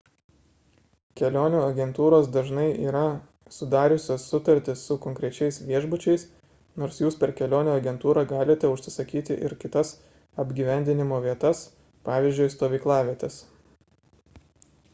kelionių agentūros dažnai yra sudariusios sutartis su konkrečiais viešbučiais nors jūs per kelionių agentūrą galite užsisakyti ir kitas apgyvendinimo vietas pavyzdžiui stovyklavietes